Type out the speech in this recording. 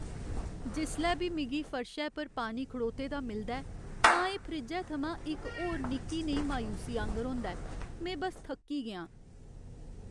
जिसलै बी मिगी फर्शै पर पानी खड़ोते दा मिलदा ऐ, तां एह् फ्रिज्जै थमां इक होर निक्की नेही मायूसी आंह्गर होंदा ऐ। में बस्स थक्की गेआ आं।